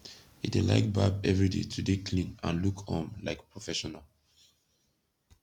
he dey laik barb evryday to dey klin and look um laik profeshonal